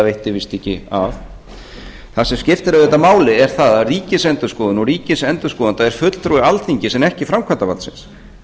veitti víst ekki af það sem skiptir auðvitað máli er það að ríkisendurskoðun og ríkisendurskoðandi er fulltrúi alþingis en ekki framkvæmdarvaldsins